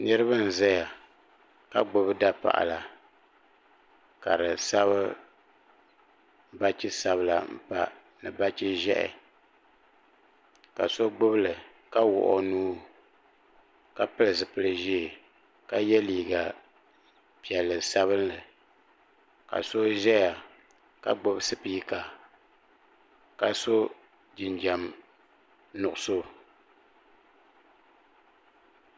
niraba n ʒɛya ka gbubi dapaɣala ka di sabi bachi sabila pa ni bachi ʒiɛhi ka so gbubili ka wuɣi o nuu ka pili zipili ʒiɛ ka yɛ liiga piɛlli sabinli ka so ʒɛya ka gbubi spiika ka so jinjɛm nuɣso